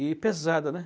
E pesada, né?